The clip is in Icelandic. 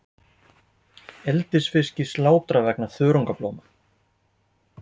Eldisfiski slátrað vegna þörungablóma